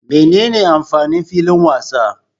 Menene amfanin filin wasa?